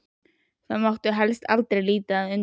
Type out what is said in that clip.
Og það mátti helst aldrei líta undan.